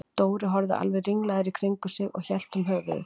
Dóri horfði alveg ringlaður í kringum sig og hélt um höfuðið.